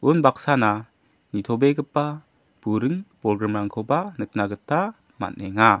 unbaksana nitobegipa buring bolgrimrangkoba nikna gita man·enga.